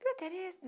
Viu a Tereza?